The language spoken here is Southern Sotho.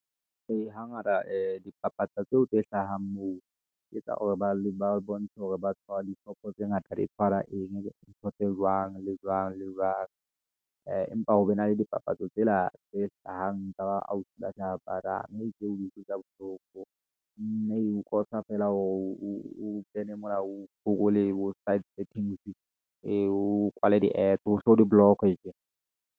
Ee, hangata dipapatso tseo tse hlahang moo, ke tsa hore ba bontshe hore ba tshwarwa dishopo tse ngata di tshwara eng, ntho tse jwang le jwang le jwang. Empa ho be na le dipapatso tsena tse hlahang ka ba ausi mme e utlwisa bohloko. Mme eo cause-a feela hore o be le molao , o kwale di a t hohle ho di-block-e.